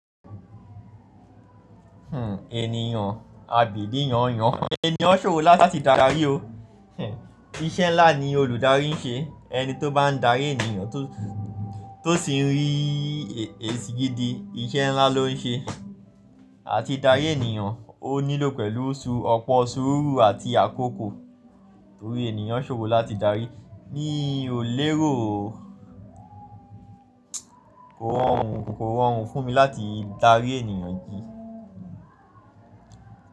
Hmm, ènìyàn, àbí ìdí yàn yàn? Ènìyàn ṣòro láti darí o. Hmm, iṣẹ́ ńlá ni olùdarí ń ṣe. Ẹni tó bá ń darí ènìyàn tó, tó sì ń rí èsì gidi, iṣẹ́ ńlá ló ń ṣe. Àti darí ènìyàn ó nílò pẹ̀lú oṣù, ọ̀pọ̀ sùúrù àti àkókò. Torí ènìyàn ṣòro láti darí. Ní òlérò o. Kò rọrùn, kò rọrùn fún mi láti darí ènìyàn jì.